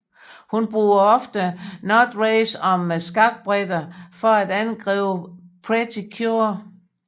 Hun bruger ofte notrays som skakbrikker for at angribe Pretty Cure